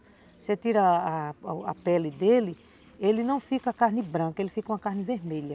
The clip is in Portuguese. Você tira a a pele dele, ele não fica carne branca, ele fica uma carne vermelha.